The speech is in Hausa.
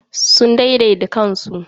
Sun daidaita kansu.